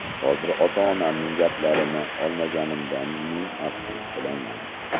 Hozir ota-onamning gaplarini olmaganimdan ming afsus qilaman.